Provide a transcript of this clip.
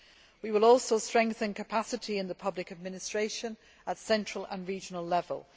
We will strengthen capacity in the public administration at central and regional level.